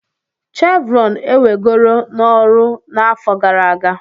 Chevron ewegoro n'ọrụ n'afọ gara aga.